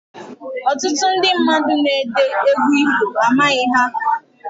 Ọtụtụ ndị mmadụ na-ede egwu ifo, amaghị ha